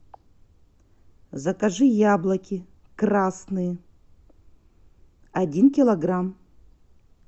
закажи яблоки красные один килограмм